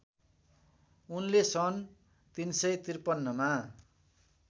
उनले सन् ३५३ मा